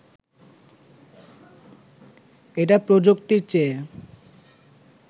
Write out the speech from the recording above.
এটা প্রযুক্তির চেয়ে